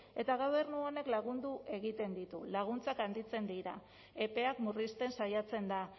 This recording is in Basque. eta gobernu honek lagundu egiten ditu laguntzak handitzen dira epeak murrizten saiatzen da